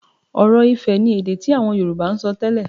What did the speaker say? Ọ̀rọ̀-ifẹ̀ ni èdè tí àwọn Yorùbá ń sọ tẹ́lẹ̀